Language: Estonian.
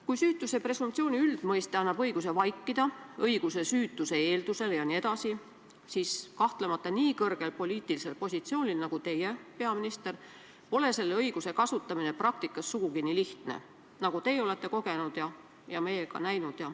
Kui süütuse presumptsiooni üldmõiste annab õiguse vaikida, õiguse süütuse eeldusele jne, siis kahtlemata nii kõrgel poliitilisel positsioonil nagu teie, peaminister, pole selle õiguse kasutamine praktikas sugugi nii lihtne, nagu teie olete kogenud ja meie ka näinud.